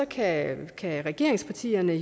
kan kan regeringspartierne